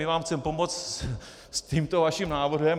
My vám chceme pomoct s tímto vaším návrhem.